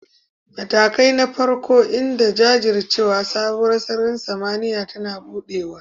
Matakai na farko, m da jajircewa, sabuwar sararin samaniya tana buɗewa